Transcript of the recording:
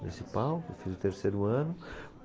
Municipal, eu fiz o terceiro ano.